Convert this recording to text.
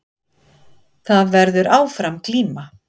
Það verður áfram glíma